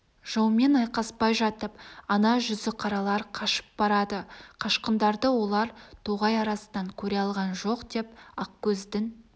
жаумен айқаспай жатып ана жүзіқаралар қашып барады қашқындарды олар тоғай арасынан көре алған жоқ деп ақкөздің